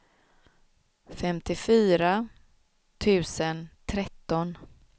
femtiofyra tusen tretton